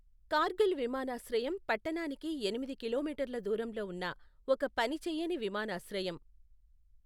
కార్గిల్ విమానాశ్రయం పట్టణానికి ఎనిమిది కిలోమీటర్ల దూరంలో ఉన్న ఒక పనిచేయని విమానాశ్రయం.